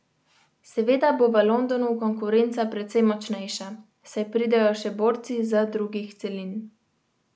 Seveda bo v Londonu konkurenca precej močnejša, saj pridejo še borci z drugih celin.